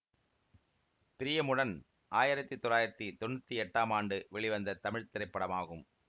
பிரியமுடன் ஆயிரத்தி தொள்ளாயிரத்தி தொன்னூத்தி எட்டாம் ஆண்டு வெளிவந்த தமிழ் திரைப்படமாகும்